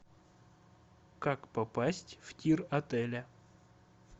как попасть в тир отеля